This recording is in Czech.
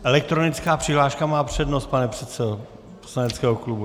Elektronická přihláška má přednost, pane předsedo poslaneckého klubu.